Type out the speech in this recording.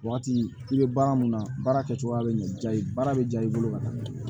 Waati i bɛ baara mun na baara kɛcogoya bɛ ɲɛ diya i ye baara bɛ diya i bolo ka taa